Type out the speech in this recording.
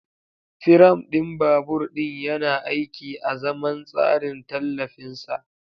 Firam ɗin babur ɗin yana aiki azaman tsarin tallafin sa.